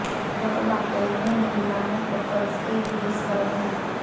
यह वाकई में इंडिया में कपल्स के लिए स्वर्ग है